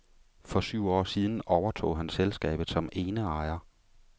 For syv år siden overtog han selskabet som eneejer.